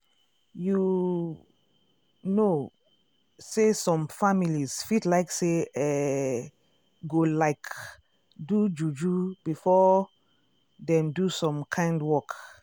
um you um know say some families fit like say eeh go like do juju before dem do some kind work.